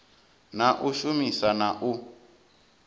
na u shumisa na u